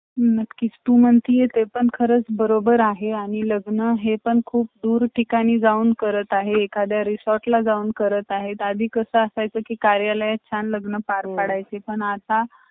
ज्या जो अं काही मांनस